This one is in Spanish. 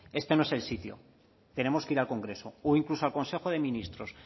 este no es el sitio tenemos que ir al congreso o incluso al consejo de ministros